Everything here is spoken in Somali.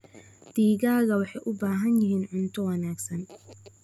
Digaagga waxay u baahan yihiin cunto wanaagsan.